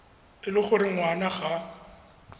e le gore ngwana ga